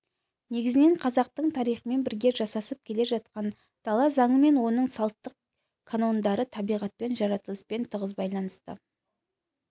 негізінен қазақтың тарихымен бірге жасасып келе жатқан дала заңы мен оның салттық канондары табиғатпен жаратылыспен тығыз байланысты